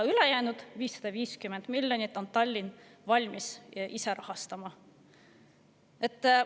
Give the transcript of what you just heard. Ülejäänud 550 miljonit on Tallinn valmis ise.